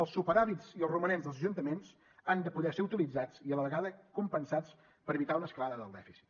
els superàvits i els romanents dels ajuntaments han de poder ser utilitzats i a la vegada compensats per evitar una escalada del dèficit